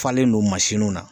Falen no mansinw na